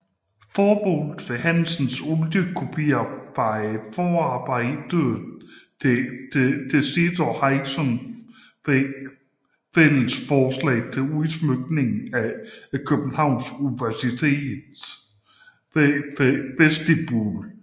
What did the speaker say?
Formålet med Hansens oliekopier var et forarbejde til sit og Hilkers fælles forslag til udsmykningen af Københavns Universitets vestibule